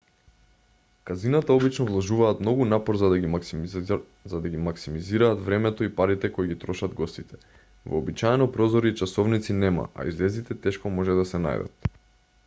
казината обично вложуваат многу напор за да ги максимизираат времето и парите кои ги трошат гостите вообичаено прозори и часовници нема а излезите тешко може да се најдат